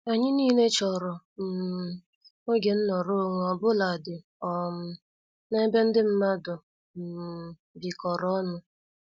Anyị nile chọrọ um oge nọrọ onwe obuladi um n' ebe ndị mmadụ um bikoro ọnụ.